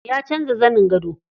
Ya canza zanin gado.